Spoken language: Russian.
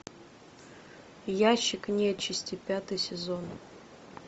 ящик нечисти пятый сезон